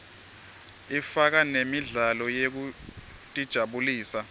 ifaka nemidlalo yekutijabulisa